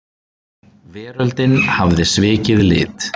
Veröldin hafði svikið lit.